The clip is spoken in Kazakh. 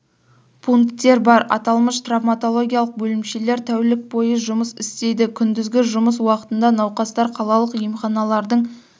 пунктер бар аталмыш травматологиялық бөлімшелер тәулік бойы жұмыс істейді күндізгі жұмыс уақытында науқастар қалалық емханалардың